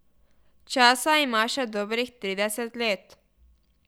Časa ima še dobrih trideset let.